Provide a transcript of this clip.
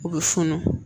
U bɛ funu